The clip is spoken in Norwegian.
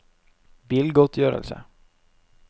bilgodtgjørelse